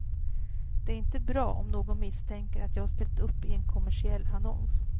Det är inte bra om någon misstänker att jag ställt upp i en kommersiell annons.